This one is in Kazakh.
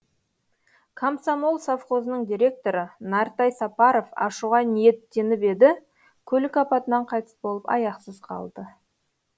комсомол совхозының директоры нартай сапаров ашуға ниеттеніп еді көлік апатынан қайтыс болып аяқсыз қалды